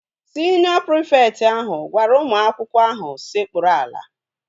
Siniọ prịfekt ahụ gwara ụmụ akwụkwọ ahụ sekpuru ala